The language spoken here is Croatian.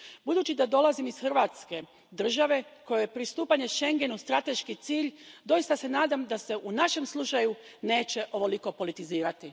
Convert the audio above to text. Budući da dolazim iz Hrvatske, države kojoj je pristupanje Schengenu strateški cilj, doista se nadam da se u našem slučaju neće ovoliko politizirati.